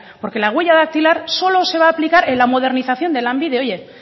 porque la huella dactilar solo se va a aplicar en la modernización de lanbide oye